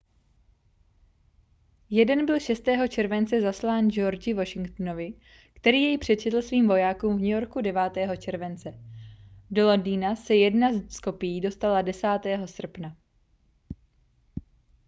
jeden byl 6. července zaslán georgi washingtonovi který jej přečetl svým vojákům v new yorku 9. července do londýna se jedna z kopií dostala 10. srpna